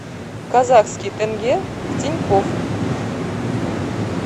казахский тенге в тинькофф